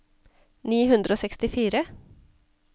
ni hundre og sekstifire